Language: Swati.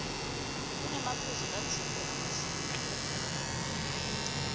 kunemaphuzu latsite lamahle